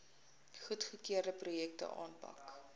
goedgekeurde projekte aanpak